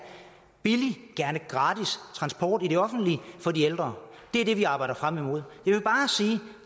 billig gerne gratis transport i det offentlige for de ældre det er det vi arbejder frem imod